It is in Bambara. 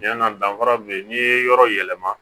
Ɲɛna danfara min bɛ yen n'i ye yɔrɔ yɛlɛma